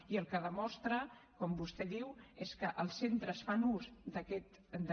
i el que demostra com vostè diu és que els centres fan ús d’aquesta